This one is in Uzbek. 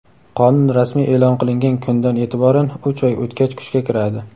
Qonun rasmiy eʼlon qilingan kundan eʼtiboran uch oy o‘tgach kuchga kiradi.